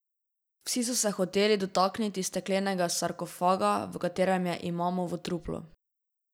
Vsi so se hoteli dotakniti steklenega sarkofaga, v katerem je imamovo truplo.